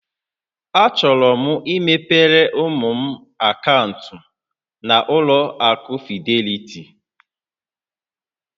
Achọrọ m imepere ụmụ m akaụntụ na-ụlọ akụ Fidelity